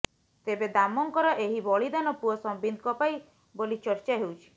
ତେବେ ଦାମଙ୍କର ଏହି ବଳିଦାନ ପୁଅ ସମ୍ବିତଙ୍କ ପାଇଁ ବୋଲି ଚର୍ଚ୍ଚା ହେଉଛି